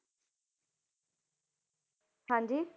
ਹਾਂਜੀ